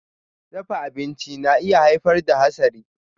Dafa abinci na iya haifar da hasari.